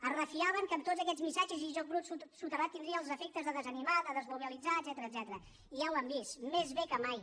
es refiaven que tots aquests missatges i joc brut soterrat tindrien els efectes de desanimar de desmobilitzar etcètera i ja ho han vist més bé que mai